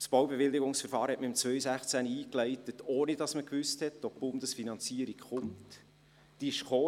Das Baubewilligungsverfahren wurde im Jahr 2016 eingeleitet, ohne dass man wusste, ob die Bundesfinanzierung zustande kommt oder nicht.